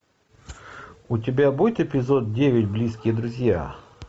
у тебя будет эпизод девять близкие друзья